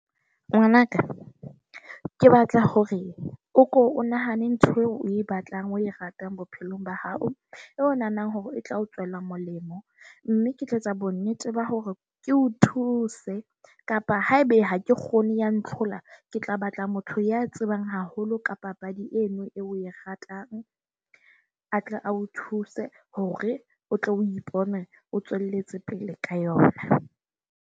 Ngwana ka, ke batla hore o ko o nahane ntho eo o e batlang. O e ratang bophelong ba hao, o nahanang hore e tla o tswela molemo. Mme ke tlo etsa bonnete ba hore ke o thuse kapa haebe ha ke kgone ya ntlhola. Ke tla batla motho ya tsebang haholo ka papadi eno eo o e ratang a tle a o thuse hore o tlo o ipone o tswelletse pele ka yona.